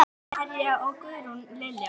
Linda María og Guðrún Lilja.